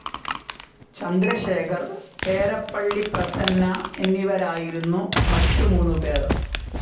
ചന്ദ്രശേഖർ, ഏരപ്പള്ളി പ്രസന്ന എന്നിവരായിരുന്നു മറ്റു മൂന്നുപേർ.